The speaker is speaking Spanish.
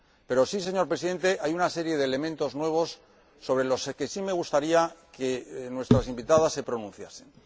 Pero, señor Presidente, hay una serie de elementos nuevos sobre los que sí me gustaría que nuestras invitadas se pronunciasen.